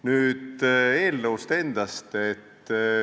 Nüüd eelnõust endast.